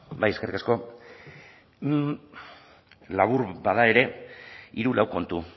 bai eskerrik asko labur bada ere hiru lau kontu